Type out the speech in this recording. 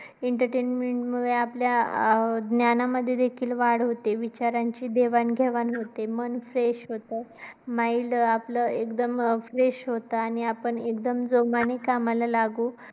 Entertainment मुळे आपल्या ज्ञानामध्ये देखील वाढ होते. विचारांची देवाणघेवाण होते. मन fresh होत. Mind आपलं एकदम अं fresh होत. आणि आपण एकदम जोमाने कामाला लागू